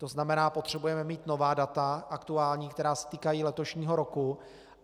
To znamená, potřebujeme mít nová data, aktuální, která se týkají letošního roku.